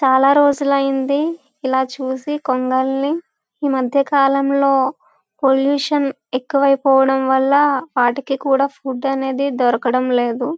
చాల రోజులు అయింది ఇలా చూసి కొంగల్ని ఈ మధ్య కాలం లో పొల్యూషన్ ఎక్కువ అయిపోవడం వాళ్ళ వాటికి కూడా ఫుడ్ అనేది దొరకడం లేదు.